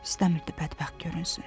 İstəmirdi bədbəxt görünsün.